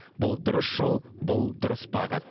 бұл дұрыс жол бұл дұрыс бағыт